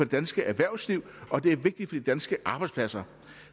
danske erhvervsliv og det er vigtigt for de danske arbejdspladser